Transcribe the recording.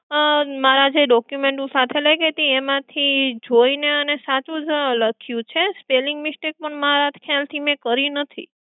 આહ મારા જે document હું જે સાથે લઈ ગઈ હતી એમાંથી જોઈને અને સાચું જ લાખિયું છે spelling mistake મારા ખ્યાલ થી મે કરી નથી.